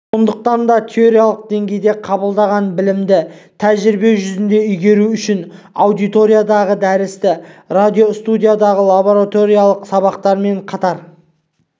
сондықтан да теориялық деңгейде қабылдаған білімді тәжірибе жүзінде игеру үшін аудиториядағы дәрісті радиостудиядағы лабораториялық сабақтармен қатар